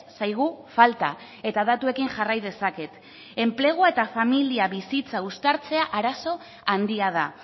zaigu falta eta datuekin jarrai dezaket enplegua eta familia bizitza uztartzea arazo handia da